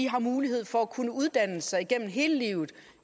har mulighed for at kunne uddanne sig igennem hele livet